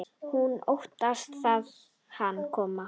Hún óttast að hann komi.